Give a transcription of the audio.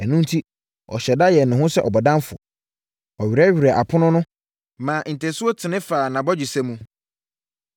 Ɛno enti, ɔhyɛɛ da yɛɛ ne ho sɛ bɔdamfoɔ, ɔwerɛwerɛɛ apono ho maa ntasuo tene faa nʼabɔgyesɛ mu.